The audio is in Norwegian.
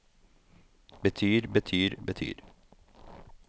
betyr betyr betyr